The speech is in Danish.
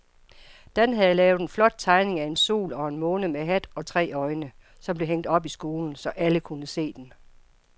Dan havde lavet en flot tegning af en sol og en måne med hat og tre øjne, som blev hængt op i skolen, så alle kunne se den.